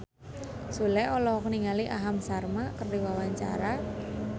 Sule olohok ningali Aham Sharma keur diwawancara